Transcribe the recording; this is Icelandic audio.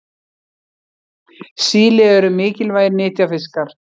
Síli eru mikilvægir nytjafiskar.